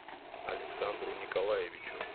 александру николаевичу